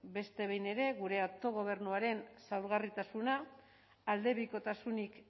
beste behin ere gure autogobernuaren zaurgarritasuna aldebikotasunik